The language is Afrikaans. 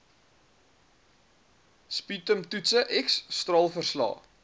sputumtoetse x straalverslae